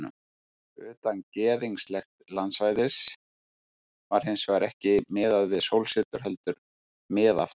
Utan gyðinglegs landsvæðis var hins vegar ekki miðað við sólsetur heldur við miðaftan.